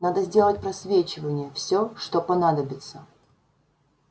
надо сделать просвечивание всё что понадобится